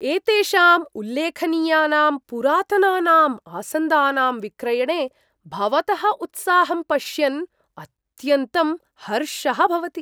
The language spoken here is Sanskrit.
एतेषां उल्लेखनीयानां पुरातनानां आसन्दानां विक्रयणे भवतः उत्साहम् पश्यन् अत्यन्तं हर्षः भवति।